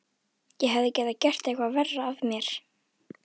Ég hefði getað gert eitthvað verra af mér.